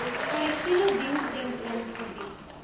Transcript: korrektiewe dienssentrum gebied